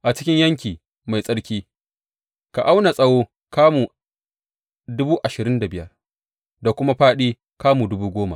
A cikin yanki mai tsarki, ka auna tsawo kamu dubu ashirin da biyar da kuma fāɗi kamu dubu goma.